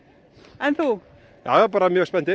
en þú jájá bara mjög spenntir